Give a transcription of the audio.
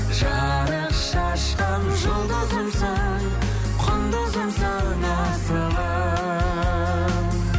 жарық шашқан жұлдызымсың құндызымсың асылым